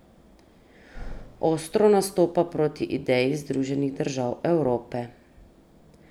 Ostro nastopa proti ideji Združenih držav Evrope.